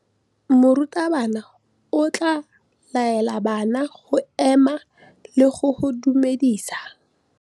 Morutabana o tla laela bana go ema le go go dumedisa.